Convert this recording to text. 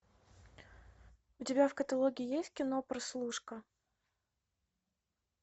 у тебя в каталоге есть кино прослушка